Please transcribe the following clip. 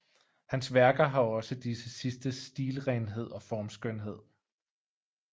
Hans værker har også disse sidstes stilrenhed og formskønhed